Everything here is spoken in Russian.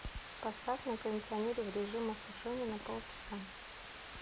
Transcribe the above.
поставь на кондиционере в режим осушения на полчаса